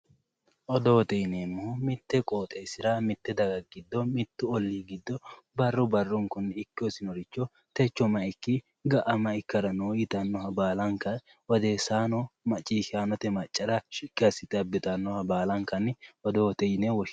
Odoote yineemmohu mittu qooxeessira mitte daga giddo mittu ollii giddo barru barrunkunni ikke hosinoricho techo may ikki ga'a may ikkara no yitannoha baalanka odeessaano maciishshaanote maccara shiqqi assite abbitannoha baalankanni